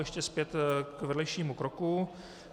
Ještě zpět k vedlejšímu kroku.